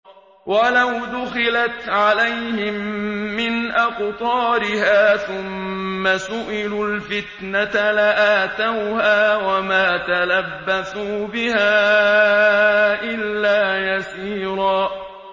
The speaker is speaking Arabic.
وَلَوْ دُخِلَتْ عَلَيْهِم مِّنْ أَقْطَارِهَا ثُمَّ سُئِلُوا الْفِتْنَةَ لَآتَوْهَا وَمَا تَلَبَّثُوا بِهَا إِلَّا يَسِيرًا